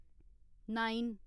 nine